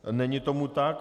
Není tomu tak.